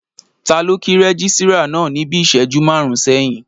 Taló o kí rẹ́gísírà náà níbi ìṣẹ́jú máàrún sẹ́yìn?